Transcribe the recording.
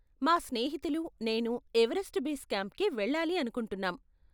మా స్నేహితులు, నేను ఎవరెస్ట్ బేస్ క్యాంప్కి వెళ్ళాలి అనుకుంటున్నాం.